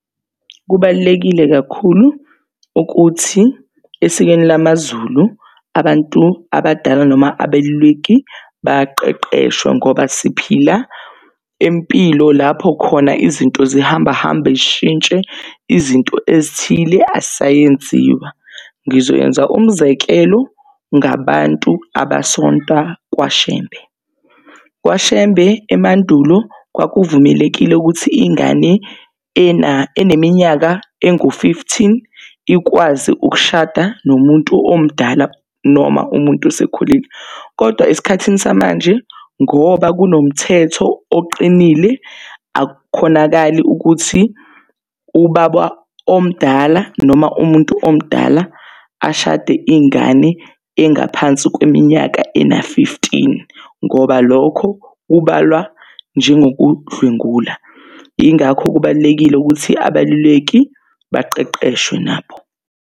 Kubalulekile kakhulu ukuthi esikweni lamazulu, abantu abadala noma abeluleki baqeqeshwe ngoba siphila impilo lapho khona izinto zihamba hamba zishintshe izinto ezithile azisa yenziwa. Ngizoyenza umzekelo ngabantu abasonta KwaShembe. KwaShembe emandulo kwaku vumelekile ukuthi ingane eneminyaka engu-fifteen ikwazi ukushada nomuntu omdala noma umuntu osekhulile kodwa esikhathini samanje ngoba kunomthetho oqinile, akukhonakali ukuthi ubaba omdala noma umuntu omdala ashade ingane engaphansi kweminyaka engu-fifteen ngoba lokho kubalwa njengoku dlwengula yingakho kubalulekile ukuthi abeluleki baqeqeshwe nabo.